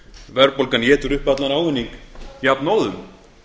verðbólgan étur upp allan ávinning jafnóðum